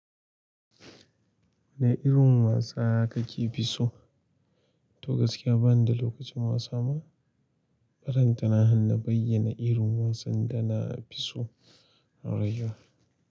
Wane irin wasa kake fi so? To gaskiya bani da lokacin wasa ma. Balanta na han na bayyana irin wasan da na fi so a rayuwa.